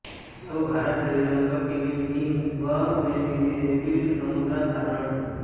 तो भारत श्रीलंका फिलिपीन्स व West Indies येथील समुद्रांत आढळतो